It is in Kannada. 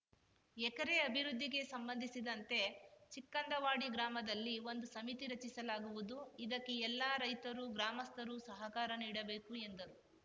ಎಕೆರೆ ಅಭಿವೃದ್ಧಿಗೆ ಸಂಬಂಧಿಸಿದಂತೆ ಚಿಕ್ಕಂದವಾಡಿ ಗ್ರಾಮದಲ್ಲಿ ಒಂದು ಸಮಿತಿ ರಚಿಸಲಾಗುವುದು ಇದಕ್ಕೆ ಎಲ್ಲ ರೈತರು ಗ್ರಾಮಸ್ಥರು ಸಹಕಾರ ನೀಡಬೇಕು ಎಂದರು